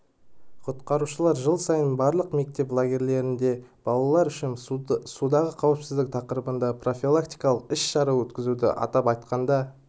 құтқарушылар жыл сайын барлық мектеп лагерлерінде балалар үшін судағы қауіпсіздік тақырыбында профилактикалық іс-шара өткізеді атап айтқанда